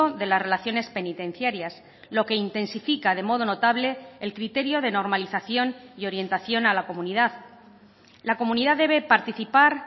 de las relaciones penitenciarias lo que intensifica de modo notable el criterio de normalización y orientación a la comunidad la comunidad debe participar